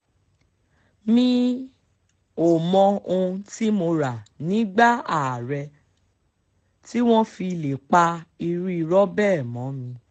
mi um ò mọ ohun tí mo rà nígbà ààrẹ um tí wọ́n fi lè pa irú irọ́ bẹ́ẹ̀ mọ́ mi